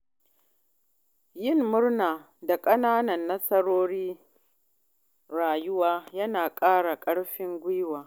Yin murna da ƙananan nasarorin rayuwa yana ƙara ƙarfin guiwa.